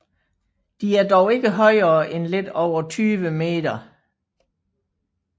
De er dog ikke højere end lidt over 20 m